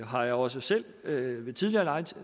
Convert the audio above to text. har jeg også selv ved ved tidligere